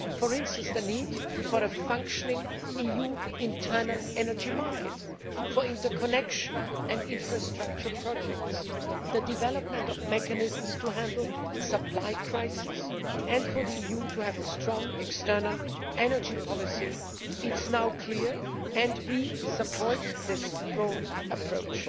For instance, the need for a functioning EU internal energy market, for interconnection and infrastructure projects, for the development of mechanisms to handle supply crises and for the EU to have a strong external energy policy is now clear, and we support this broad approach.